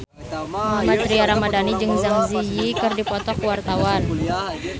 Mohammad Tria Ramadhani jeung Zang Zi Yi keur dipoto ku wartawan